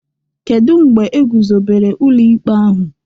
Kedu mgbe egwuzobere ụlọ ikpe ahụ?